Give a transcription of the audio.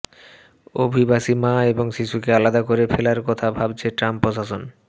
অভিবাসী মা এবং শিশুকে আলাদা করে ফেলার কথা ভাবছে ট্রাম্প প্রশাসন